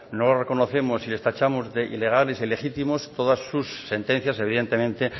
no los reconocemos y les tachamos de ilegales e ilegítimos todas sus sentencias evidentemente